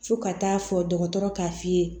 Fo ka taa fɔ dɔgɔtɔrɔ k'a f'i ye